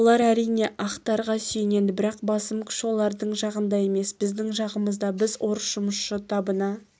олар әрине ақтарға сүйенеді бірақ басым күш олардың жағында емес біздің жағымызда біз орыс жұмысшы табына